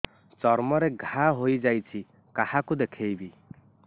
ଚର୍ମ ରେ ଘା ହୋଇଯାଇଛି କାହାକୁ ଦେଖେଇବି